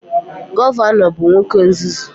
Gọvanọ bụ nwoke nzuzu